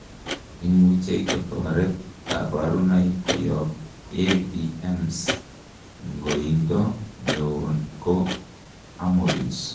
imuchei kotoret kaborunoik koyob AVMs. ngoindo neo ko hemorrhage